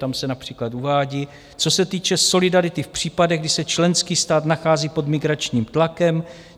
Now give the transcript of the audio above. Tam se například uvádí, co se týče solidarity v případech, kdy se členský stát nachází pod migračním tlakem.